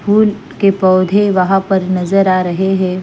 फूल के पौधे वहाँ पर नज़र आ रहे हैं।